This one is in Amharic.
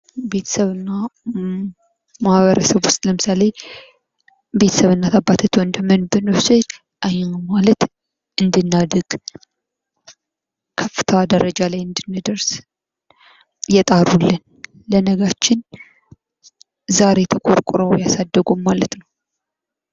ቤተሰብና ማህበረሰብ ውስጥ ለምሳሌ፡- ቤተሰብ እናትና አባትም ብንወስድ ማለትም እንድናድግ ከፍተኛ ደረጃ ላይ እንድንደርስ የጣሩልን፥ ለነጋችን ዛሬ ተቆርቁረው ያሳደጉን ማለት ነው።